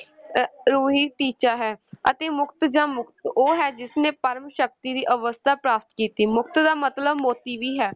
ਅਹ ਰੂਹੀ ਟੀਚਾ ਹੈ ਅਤੇ ਮੁਕਤ ਜਾਂ ਮੁਕਤ ਉਹ ਹੈ ਜਿਸ ਨੇ ਪਰਮ ਸ਼ਕਤੀ ਦੀ ਅਵਸਥਾ ਪ੍ਰਾਪਤ ਕੀਤੀ, ਮੁਕਤ ਦਾ ਮਤਲਬ ਮੋਤੀ ਵੀ ਹੈ,